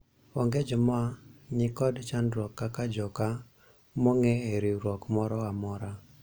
onge joma niko chandruok kaka joka monge e riwruok moro amora